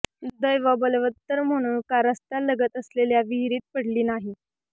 दैव बलवत्तर म्हणून कार रस्त्यालगत असलेल्या विहिरीत पडली नाही